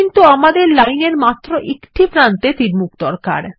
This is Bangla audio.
কিন্তু আমাদের লাইন এর মাত্র একটি প্রান্তে তীরমুখ দরকার